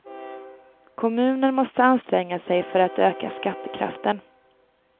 Kommunen måste anstränga sig för att öka skattekraften.